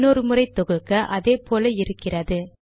இன்னொரு முறை தொகுக்க அதே போல இருக்கிறது